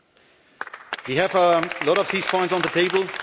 2. We have a lot of these points on the table.